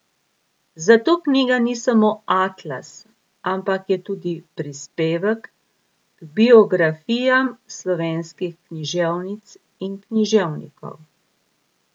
Zato knjiga ni samo atlas, ampak je tudi prispevek k biografijam slovenskih književnic in književnikov.